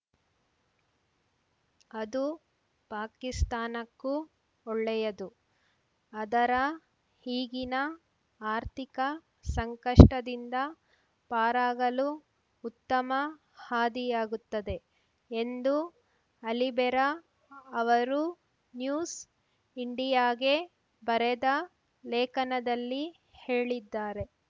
ಅದು ಪಾಕಿಸ್ತಾನಕ್ಕೂ ಒಳ್ಳೆಯದು ಅದರ ಈಗಿನ ಆರ್ಥಿಕ ಸಂಕಷ್ಟದಿಂದ ಪಾರಾಗಲು ಉತ್ತಮ ಹಾದಿಯಾಗುತ್ತದೆ ಎಂದೂ ಅಲಿಬೆರಾ ಅವರು ನ್ಯೂಸ್ ಇಂಡಿಯಾಗೆ ಬರೆದ ಲೇಖನದಲ್ಲಿ ಹೇಳಿದ್ದಾರೆ